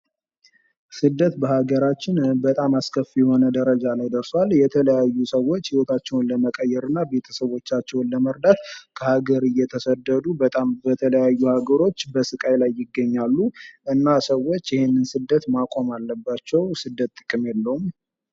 ስደት በሃገራችን በጣም አስከፊ የሆነ ደረጃ ላይ ደርሷል። የተለያዩ ሰዎች ህይወታቸውን ለመቀየርና ቤተሰቦቻቸውን ለመርዳት ከሀገሬ እየተሰደዱ በጣም በተለያዩ ሀገሮች በስቃይ ላይ ይገኛሉ ፤ እና ሰዎች ይሄን ስደት ማቆም አለባቸው ስደት ጥቅም የለውም።